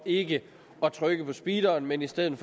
ikke at trykke på speederen men i stedet